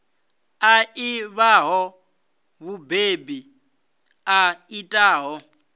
a ḓivhaho mubebi a itaho